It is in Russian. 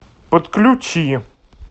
подключи